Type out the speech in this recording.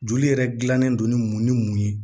Joli yɛrɛ gilannen don ni mun ni mun ye